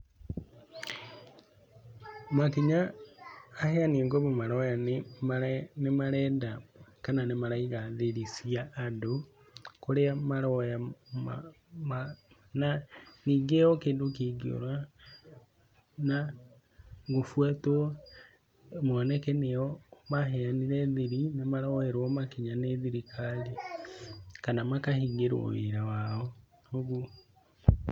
Makinya aheani a ngombo maroya nĩ marenda kana nĩ maraiga thiri cĩa andũ kũrĩa maroya, Ningĩ o kĩndũ kĩngĩũra na gũbwatwo na kwonekane nĩo maheanire thiri nĩ maroerwo makinya nĩ thirikari kana makahingĩrwo wĩra wao, ũguo.